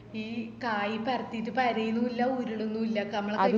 ഈ കായ് പരത്തിറ്റ് പരെന്നുള്ള ഉരുളുന്നുല്ല നമ്മള്